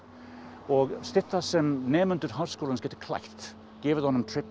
og stytta sem nemendur Háskólans gætu klætt gefið honum